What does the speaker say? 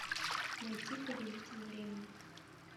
найти повелитель времени